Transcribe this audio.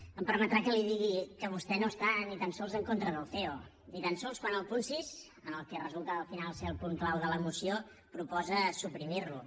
em permetrà que li digui que vostè no està ni tan sols en contra del ceo ni tan sols quan al punt sis el que resulta al final ser el punt clau de la moció proposa suprimir lo